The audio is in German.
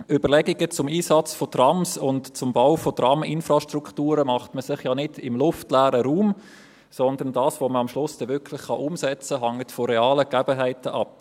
Überlegungen zum Einsatz von Trams und zum Bau von Traminfrastrukturen macht man sich ja nicht im luftleeren Raum, sondern was man am Schluss wirklich umsetzen kann, hängt von realen Gegebenheiten ab.